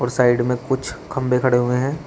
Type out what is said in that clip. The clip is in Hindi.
साइड में कुछ खंभे खड़े हुए हैं।